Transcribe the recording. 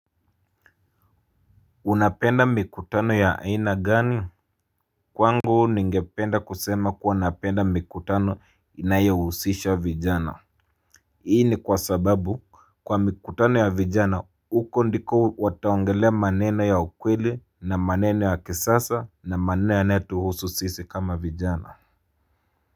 Unapenda mikutano ya aina gani? Kwangu ningependa kusema kuwa napenda mikutano inayohusisha vijana. Hii ni kwa sababu kwa mikutano ya vijana huko ndiko wataongelea maneno ya kweli, maneno ya kisasa na maneno yanayotuhusu sisi kama vijana.